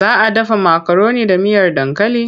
Za a dafa makaroni da miyar dankali?